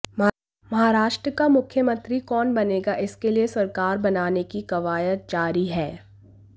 महाराष्ट्र का मुख्यमंत्री कौन बनेगा इसके लिए सरकार बनाने की कवायद जारी है